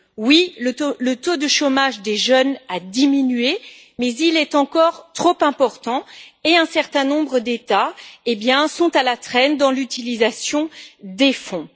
Oui, le taux de chômage des jeunes a diminué, mais il est encore trop important et un certain nombre d'États sont à la traîne dans l'utilisation des fonds.